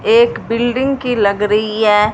एक बिल्डिंग की लग रही है।